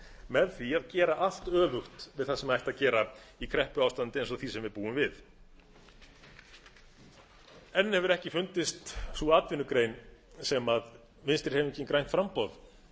með því að gera allt öfugt við það sem ætti að gera í kreppuástandi eins og því sem við búum við enn hefur ekki fundist sú atvinnugrein sem vinstri hreyfingin grænt framboð